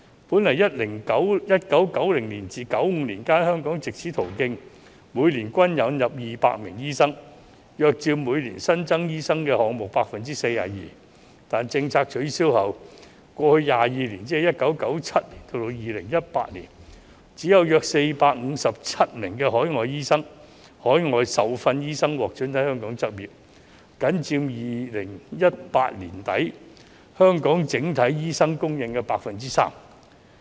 本來在1990年至1995年間，香港藉此途徑年均引入200名醫生，約佔每年新增醫生數目 42%， 但政策取消後，過去22年只有約457名海外受訓醫生獲准在香港執業，僅佔2018年年底香港整體醫生供應的 3%。